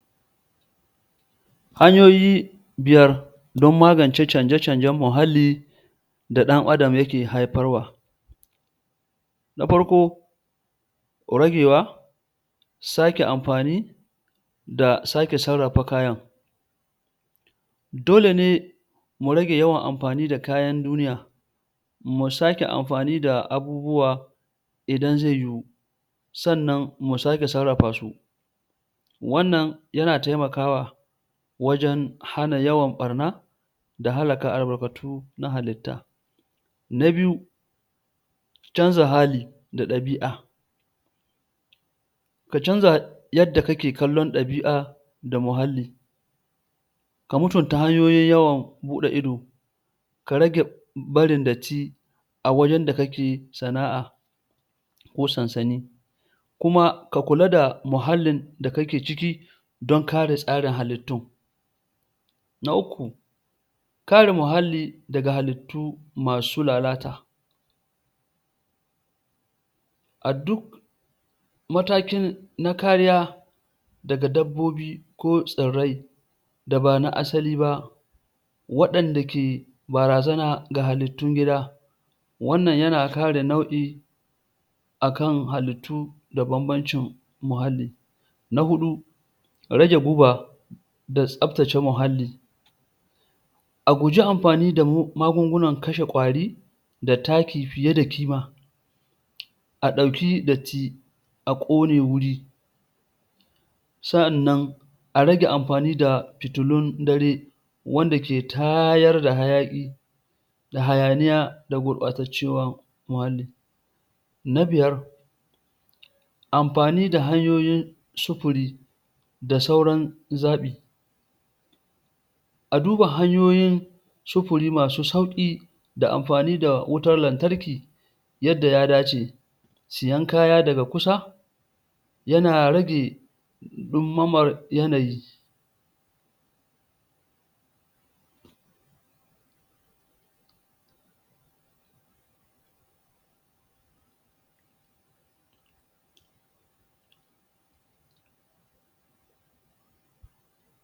Hanyoyi biyar don magance canje-canjen muhalli da ɗan adam yake haifarwa na farko rabewa sake amfani da sake sarrafa kayan dole ne mu rage yawan amfani da kayan duniya mu sake amfani da abubuwa idan ze yiwu sannan mu sake sarrafasu wannan yana taimakawa wajen hana yawan ɓarna da hallaka albarkatu na halitta na biyu canza hali da ɗabi'a ka canza yadda kake kallon ɗabi'a da muhalli ka mutuntuna hanyoyin yawan buɗe ido ka rage barin datti a wajen da kake sana'a ko sansani kuma ka kula da muhallin da kake ciki don kare tsarin halittun na uku kare muhallli daga halittu masu lalata a duk mataki na kariya daga dabbobi ko tsirrai da ba na asali ba waɗanda ke barazana ga halittun gida wannan yana kare nau'i a kan halittu da bambancin muhalli na huɗu rage guba da tsaftace muhalli a guji amfani magungunan kashe kwari da taki fiye da ƙima a ɗauki datti a kone guri sa'annan a rage amfani da fitilun dare wanda ke tayar da hayaki da hayaniya da gurɓacewar muhalli na biyar amfani da hanyoyin sufuri da sauran zaɓi a duba hanyoyin sufuri masu sauki da amfani da wutar lantarki yadda ya dace siyan kaya daga kusa yana rage ɗumamar yanayi